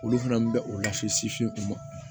Olu fana bɛ o lase sin sin o ma